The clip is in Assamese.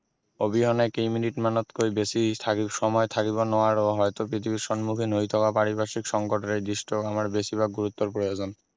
অবিহনে কেইমিনিতমানতকৈ বেছি সময় থাকিব নোৱাৰো হয়তো পৃথিৱীৰ সন্মুখীন হৈ থকা পাৰিপাৰ্শিক সংকতেৰে দিশটোক আমাৰ বেছিভাগ গুৰুত্বৰ প্ৰয়োজন